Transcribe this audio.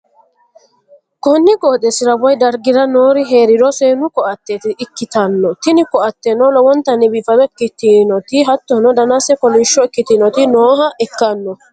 konni qooxeessira woy dargi'ra noori hee'riro seennu ko'atte ikkitanna, tini ko'ateno lowontanni biifado ikkitinoti hattono, danase kolishsho ikkitinoti nooha ikkanno.